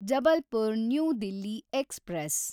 Jabalpur new Delhi express